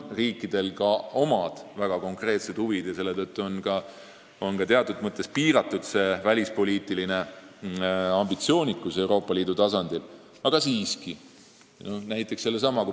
Riikidel on ka oma väga konkreetsed huvid ja selle tõttu on välispoliitiline ambitsioonikus Euroopa Liidu tasandil teatud mõttes piiratud.